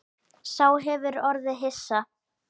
Sá hefur orðið hissa